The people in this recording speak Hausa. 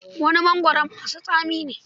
Wani mongoron masu tsami ne.